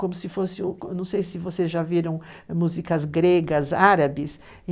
Não sei se vocês já viram músicas gregas, árabes.